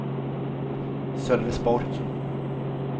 Sölvesborg